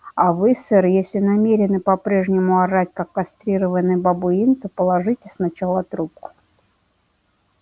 а вы сэр если намерены по-прежнему орать как кастрированный бабуин то положите сначала трубку